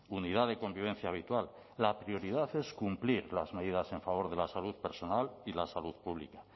unidad de convivencia habitual la prioridad es cumplir las medidas en favor de la salud personal y la salud pública